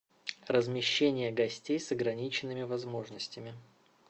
размещение гостей с ограниченными возможностями